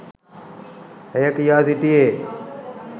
ඇය කියා සිටියේ.